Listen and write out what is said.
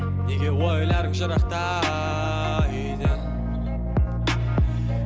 неге ойларың жырақта үйден